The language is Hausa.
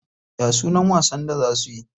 Ya sunan wasan da za suyi?